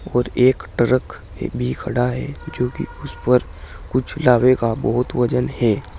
और एक ट्रक भी खड़ा है जो कि उस पर कुछ लावे का बहुत ही वजन है।